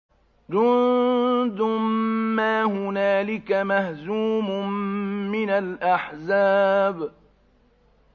جُندٌ مَّا هُنَالِكَ مَهْزُومٌ مِّنَ الْأَحْزَابِ